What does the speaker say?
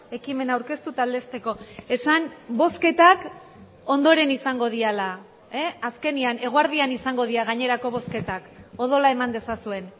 ekimena aurkeztu eta aldezteko esan bozketak ondoren izango direla azkenean eguerdian izango dira gainerako bozketak odola eman dezazuen